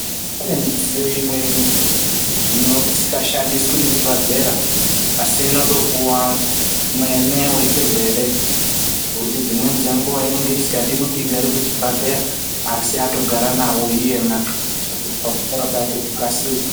Kune midziyo imweni ino isikashandiswi muzvibhadhlera, asi inondopuwa mwene wechirwere, ngekuti dzimweni dzenguwa inenge isikadi kuti igare kuchibhadhleya, asi atogara nawo iyena, kuitira pakuti kupora kwake kukasire.